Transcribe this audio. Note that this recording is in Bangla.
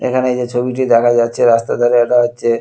এখানে এইযে ছবিটি দেখা যাচ্ছে রাস্তার ধারে এটা হচ্ছে--